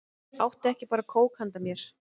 Áttu ekki bara kók handa mér?